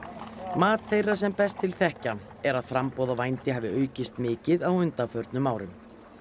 mat þeirra sem best til þekkja er að framboð á vændi hafi aukist mikið á undanförnum árum